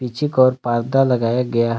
पीछे का ओर पर्दा लगाया गया है।